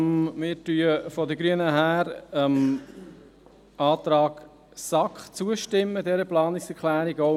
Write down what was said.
Wir Grünen stimmen der Planungserklärung der SAK zu.